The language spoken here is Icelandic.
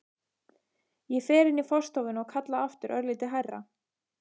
Ég fer inn í forstofuna og kalla aftur, örlítið hærra.